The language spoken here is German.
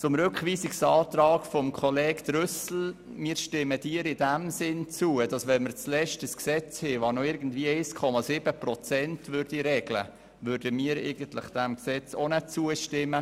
Zum Rückweisungsantrag von Grossrat Trüssel: Wir stimmen Ihnen in dem Sinn zu, dass wir dem Gesetz auch nicht zustimmen würden, wenn dieses zuletzt nur noch 1,7 Prozent regelt.